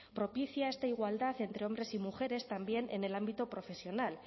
propicia esta igualdad entre hombres y mujeres también en el ámbito profesional